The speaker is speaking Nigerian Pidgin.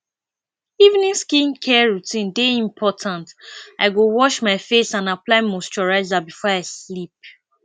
evening skincare routine dey important i go wash face and apply moisturizer before i sleep